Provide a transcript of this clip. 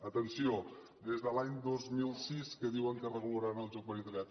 atenció des de l’any dos mil sis que diuen que regularan el joc per internet